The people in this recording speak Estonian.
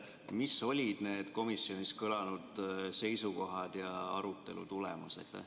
Mis olid need komisjonis kõlanud seisukohad ja arutelu tulemus?